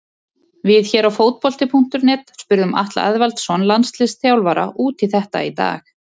Við hér á Fótbolti.net spurðum Atla Eðvaldsson landsliðsþjálfara út í þetta í dag.